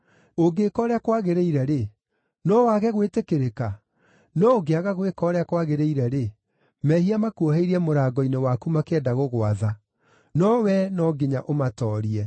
Ũngĩka ũrĩa kwagĩrĩire-rĩ, no wage gwĩtĩkĩrĩka? No ũngĩaga gwĩka ũrĩa kwagĩrĩire-rĩ, mehia makuoheirie mũrango-inĩ waku makĩenda gũgwatha; no wee no nginya ũmatoorie.”